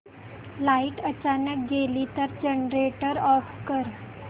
light अचानक गेली तर जनरेटर ऑफ कर